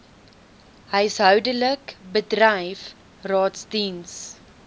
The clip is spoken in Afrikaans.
huishoudelik bedryf raadsdiens